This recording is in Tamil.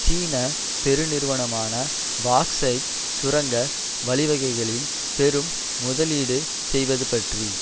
சீன பெருநிறுவனமான பாக்சைட் சுரங்க வழிவகைகளில் பெரும் முதலீடு செய்வது பற்றி